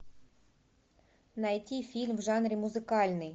найти фильм в жанре музыкальный